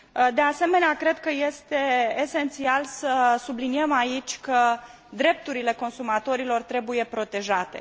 De asemenea, cred că este esențial să subliniem aici că drepturile consumatorilor trebuie protejate.